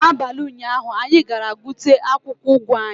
N'abalị ụnyaahụ, anyị ga-gbute akwụkwọ ugu anyị